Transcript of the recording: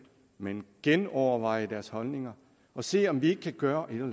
men genoverveje deres holdninger og se om vi kan gøre et eller